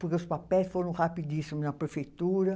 Porque os papéis foram rapidíssimos na prefeitura.